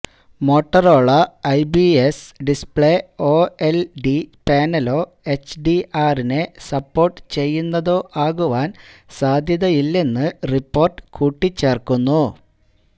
Motorola Ibiza display OLED പാനലോ എച്ച്ഡിആറിനെ support ചെയ്യുന്നതോ ആകുവാൻ സാധ്യതയില്ലെന്ന് റിപ്പോർട്ട് കൂട്ടിച്ചേർക്കുന്നു